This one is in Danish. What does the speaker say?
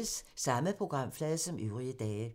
Samme programflade som øvrige dage